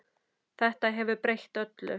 Þetta hefur breytt öllu.